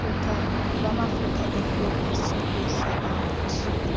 lwamafutha eefosili kwihlabathi